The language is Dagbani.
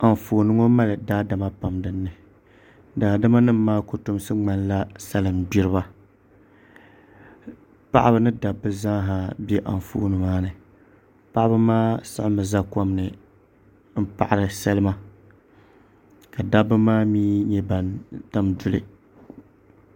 Anfooni ŋo mali daadama pam dinni daadama nim maa kotomsi ŋmanila salin gbiriba paɣaba ni dabba zaaha bɛ anfooni ŋo ni paɣaba maa siɣimi ʒɛ kom ni n paɣari salima ka dabba maa mii nyɛ ban tam duli